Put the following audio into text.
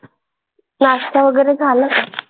नाश्ता वगैरे झाला का?